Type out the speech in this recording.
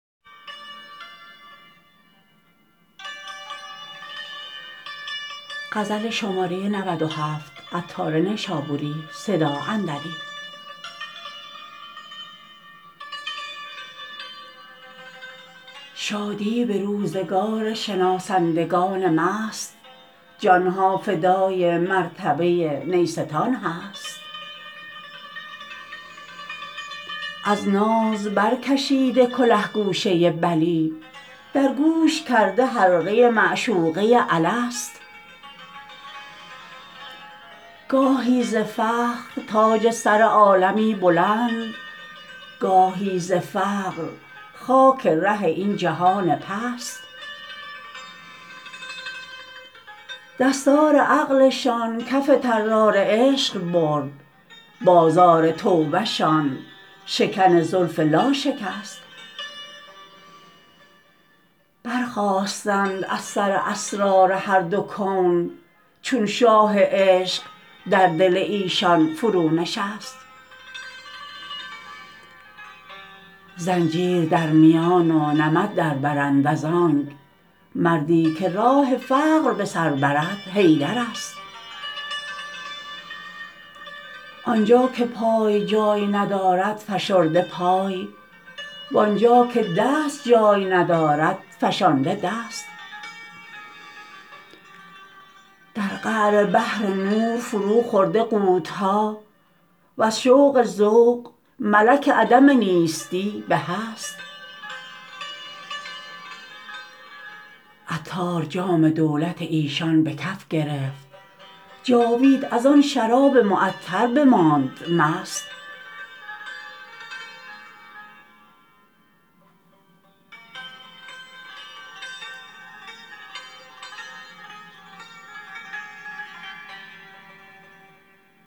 شادی به روزگار شناسندگان مست جانها فدای مرتبه نیستان هست از ناز برکشیده کله گوشه بلی در گوش کرده حلقه معشوقه الست گاهی ز فخر تاج سر عالمی بلند گاهی ز فقر خاک ره این جهان پست دستار عقلشان کف طرار عشق برد بازار توبه شان شکن زلف لا شکست برخاستند از سر اسرار هر دو کون چون شاه عشق در دل ایشان فرو نشست زنجیر در میان و نمد دربرند از آنک مردی که راه فقر به سر برد حیدر است آنجا که پای جای ندارد فشرده پای وانجا که دست جای ندارد فشانده دست در قعر بحر نور فرو خورده غوطه ها وز شوق ذوق ملک عدم نیستی به هست عطار جام دولت ایشان به کف گرفت جاوید از آن شراب معطر بماند مست